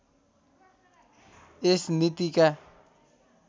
यस नीतिका